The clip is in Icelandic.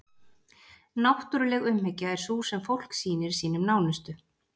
náttúruleg umhyggja er sú sem fólk sýnir sínum nánustu